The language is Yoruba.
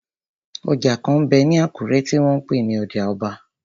Ọjà kan m bẹ ní Àkúrẹ́ tí wọ́n n pè ní ọjà ọba.